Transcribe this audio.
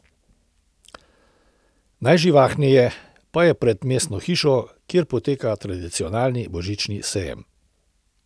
Najživahneje pa je pred mestno hišo, kjer poteka tradicionalni božični sejem.